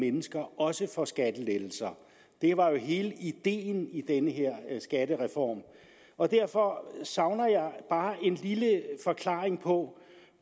mennesker også får skattelettelser det var jo hele ideen i den her skattereform og derfor savner jeg bare en lille forklaring på